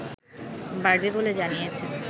বাড়বে বলে জনিয়েছেন